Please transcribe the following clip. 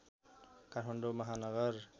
Kathmandu Mahanagar